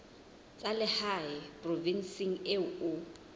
tsa lehae provinseng eo o